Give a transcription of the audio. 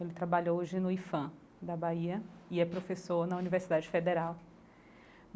Ele trabalha hoje no IPHAN da Bahia e é professor na Universidade Federal.